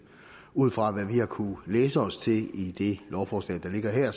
ud fra hvad vi har kunnet læse os til i det lovforslag der ligger her